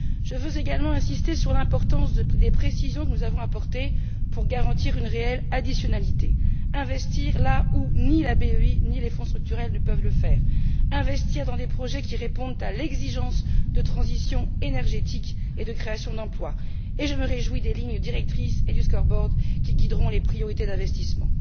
Je veux également insister sur l'importance des précisions que nous avons apportées afin de garantir une réelle additionnalité investir là où ni la BEI ni les Fonds structurels ne peuvent le faire, investir dans des projets qui répondent à l'exigence de transition énergétique et de création d'emplois, et je me réjouis des lignes directrices et du scoreboard qui guideront les priorités d'investissement.